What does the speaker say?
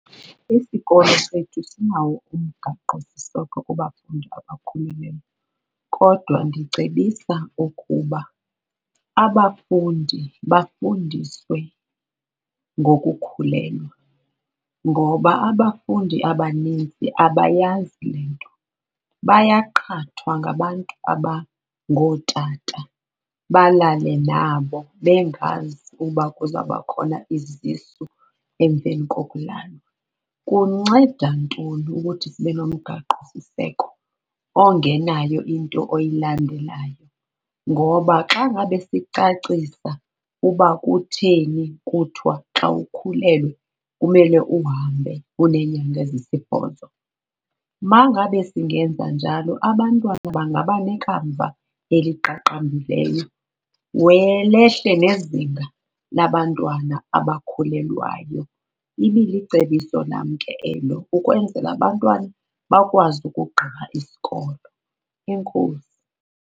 Isikolo sethu sinawo umgaqosiseko kubafundi abakhulelweyo kodwa ndicebisa ukuba abafundi bafundiswe ngokukhulelwa. Ngoba abafundi abanintsi abayazi le nto bayaqhathwa ngabantu abangootata balale nabo bengazi uba kuzabakhona izisu emveni kokulala. Kunceda ntoni ukuthi sibe nomgaqo siseko ongenayo into oyilandelayo? Ngoba xa ngabe sicacisa uba kutheni kuthiwa xa ukhulelwe kumele uhambe uneenyanga ezisibhozo, uma ngabe singenza njalo abantwana bangaba nekamva eliqaqambileyo, lehle nezinga labantwana abakhulelwayo. Ibilicebiso lam ke elo ukwenzela abantwana bakwazi ukugqiba isikolo. Enkosi.